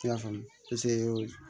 Ti y'a faamu